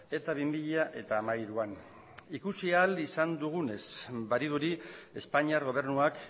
eta bi mila hamairuan ikusi ahal izan dugunez badirudi espainiar gobernuak